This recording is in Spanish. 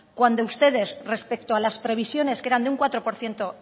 cuando ustedes respecto a las previsiones que eran de cuatro por ciento